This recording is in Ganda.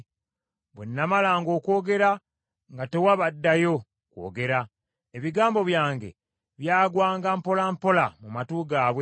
Bwe namalanga okwogera, nga tewaba addayo kwogera, ebigambo byange byagwanga mpola mpola mu matu gaabwe.